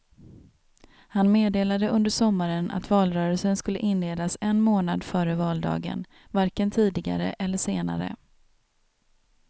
Han meddelade under sommaren att valrörelsen skulle inledas en månad före valdagen, varken tidigare eller senare.